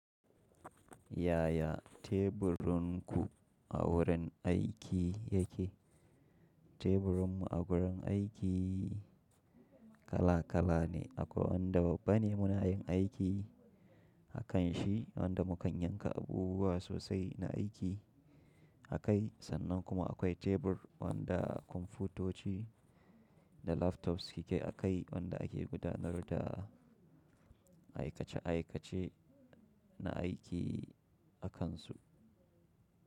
Yaya teburunku a wurin aiki yake? Teburunmu a wurin aiki kala-kala ne. Akwai wanda babban ne muna yin aiki a kanshi, wanda mu kan yanka abubuwa sosai na aiki a kai. Sannan kuma akwai tebur wanda kwamfutoci da laptops suke a kai wanda ake gudanar da aikace-aikace na aiki a kansu.